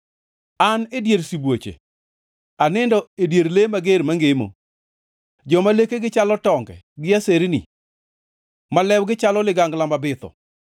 An e dier sibuoche; anindo e dier le mager mangemo, joma lekegi chalo tonge gi aserni, ma lewgi chalo ligangla mabitho.